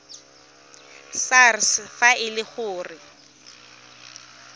sars fa e le gore